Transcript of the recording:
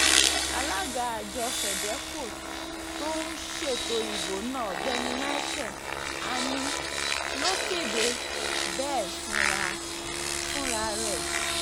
alága àjọ fedeco tó um ń ṣètò ìbò náà ọ̀gbẹ́ni michael ani ló kéde bẹ́ẹ̀ fúnra um rẹ̀